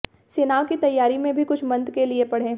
सेनाओं के तैयारी में भी कुछ मंत्र के लिए पढ़ें